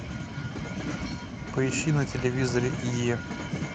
поищи на телевизоре е